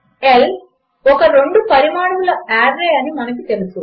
L ఒక రెండు పరిమాణముల ఆర్రే అని మనకు తెలుసు